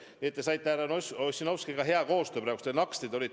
Nii et te tegite härra Ossinovskiga praegu head koostööd nagu naksti!